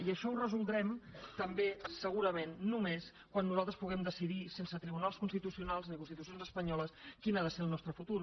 i això ho resoldrem també segurament només quan nosaltres puguem decidir sense tribunals constitucionals ni constitucions espanyoles quin ha de ser el nostre futur